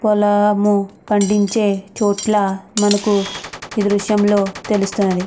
పొలాము పండించే చోటుల మనకు ఇది దృశ్యంలో తెలుస్తుంది.